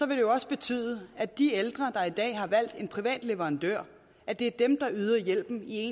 vil det også betyde at de ældre der i dag har valgt en privat leverandør at det er dem der yder hjælpen i